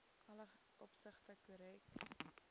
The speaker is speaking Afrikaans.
alle opsigte korrek